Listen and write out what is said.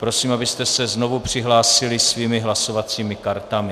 Prosím, abyste se znovu přihlásili svými hlasovacími kartami.